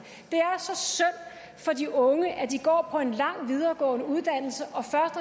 for de unge at de går på en lang videregående uddannelse